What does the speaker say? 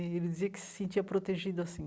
Ele dizia que se sentia protegido assim.